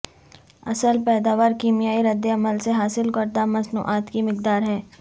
اصل پیداوار کیمیائی ردعمل سے حاصل کردہ مصنوعات کی مقدار ہے